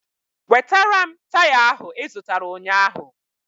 Wetara m taya ahụ I zụtara ụnyaahụ